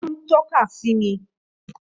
Ó ń tọ́ka sí mi